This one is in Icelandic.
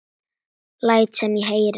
Læt sem ég heyri.